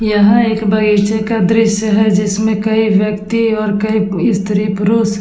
यह एक बगीचे का दृश्य है जिसमे कई व्यक्ति कई स्त्री-पुरुष --